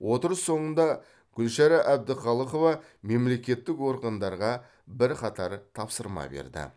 отырыс соңында гүлшара әбдіқалықова мемлекеттік органдарға бірқатар тапсырма берді